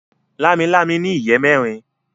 Lámilámi ní ìyè mérin.